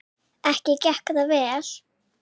Ekki gekk það vel.